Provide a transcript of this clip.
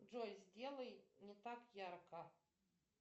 джой сделай не так ярко